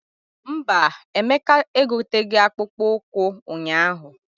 Mba, Emeka egoteghi akpụkpọ ụkwụ ụnyaahụ.